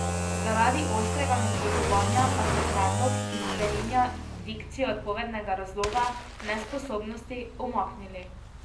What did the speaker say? Zaradi ostrega nasprotovanja pa so predlog, ki spreminja dikcijo odpovednega razloga nesposobnosti, umaknili.